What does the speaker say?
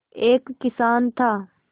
एक किसान था